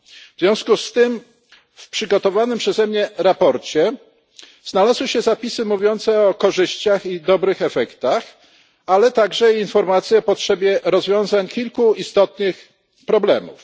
W związku z tym w przygotowanym przeze mnie sprawozdaniu znalazły się zapisy mówiące o korzyściach i dobrych efektach, ale i informacje o potrzebie rozwiązania kilku istotnych problemów.